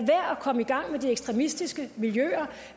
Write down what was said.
komme i gang med de ekstremistiske miljøer